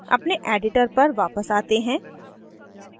अपने editor पर वापस आते हैं